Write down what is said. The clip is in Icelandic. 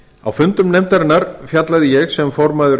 á fundum nefndarinnar fjallaði ég sem formaður